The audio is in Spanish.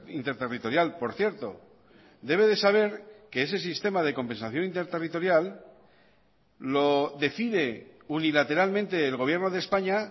interterritorial por cierto debe de saber que ese sistema de compensación interterritorial lo decide unilateralmente el gobierno de españa